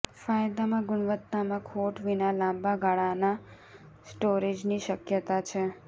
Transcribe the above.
ફાયદામાં ગુણવત્તામાં ખોટ વિના લાંબા ગાળાના સ્ટોરેજની શક્યતા છે